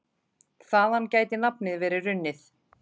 Þaðan gæti nafnið verið runnið.